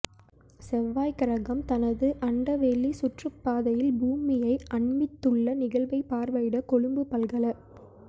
செவ்வாய்க்கிரகம் தனது அண்டவெளி சுற்றுப்பாதையில் பூமியை அண்மித்துள்ள நிகழ்வை பார்வையிட கொழும்பு பல்கல